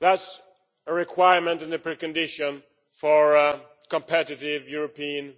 That is a requirement and a pre condition for a competitive European